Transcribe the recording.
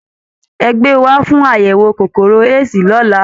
Ẹ gbé e wá fún àyẹ̀wò kòkòrò AIDS lọ́la!